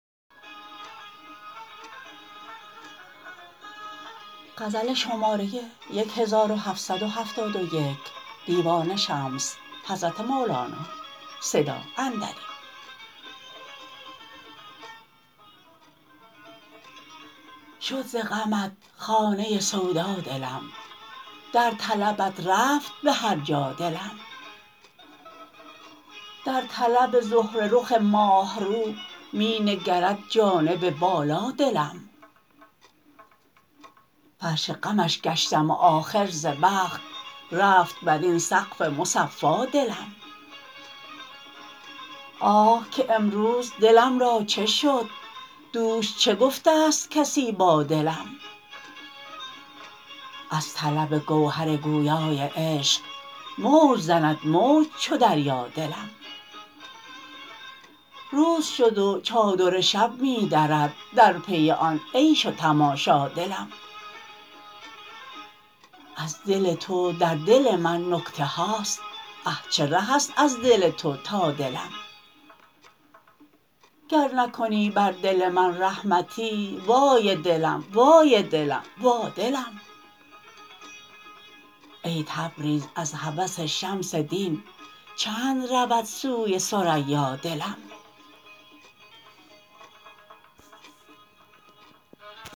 شد ز غمت خانه سودا دلم در طلبت رفت به هر جا دلم در طلب زهره رخ ماه رو می نگرد جانب بالا دلم فرش غمش گشتم و آخر ز بخت رفت بر این سقف مصفا دلم آه که امروز دلم را چه شد دوش چه گفته است کسی با دلم از طلب گوهر گویای عشق موج زند موج چو دریا دلم روز شد و چادر شب می درد در پی آن عیش و تماشا دلم از دل تو در دل من نکته هاست اه چه ره است از دل تو تا دلم گر نکنی بر دل من رحمتی وای دلم وای دلم وا دلم ای تبریز از هوس شمس دین چند رود سوی ثریا دلم